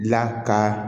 La ka